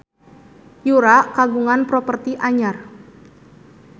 Yura kagungan properti anyar